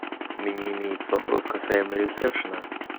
у меня имеется вопрос касаемо ресепшена